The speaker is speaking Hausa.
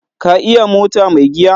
Ka iya mota mai giya?